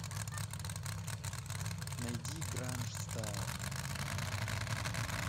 найди гранжстайл